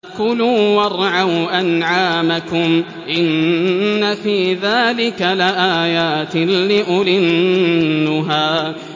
كُلُوا وَارْعَوْا أَنْعَامَكُمْ ۗ إِنَّ فِي ذَٰلِكَ لَآيَاتٍ لِّأُولِي النُّهَىٰ